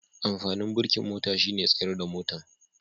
Amfanin birikin mota shine tsayar da motan.